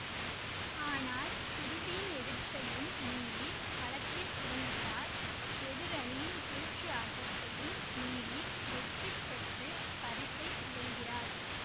ஆனால் குருவின் எதிர்ப்பையும் மீறி களத்தில் இறங்குகிறார் எதிரணயினரின் சூழ்ச்சி ஆட்டத்தையும் மீறி வெற்றி பெற்று பரிசை வெல்கிறார்